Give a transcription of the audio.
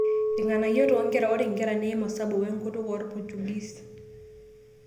Irng'anayio too nkera: Ore nkera neiim osabu, wenkutuk orpochugis